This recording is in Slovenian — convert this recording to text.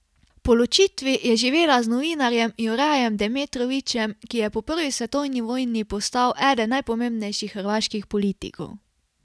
Po ločitvi je živela z novinarjem Jurajem Demetrovićem, ki je po prvi svetovni vojni postal eden najpomembnejših hrvaških politikov.